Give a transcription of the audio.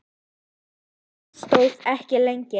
En það stóð ekki lengi.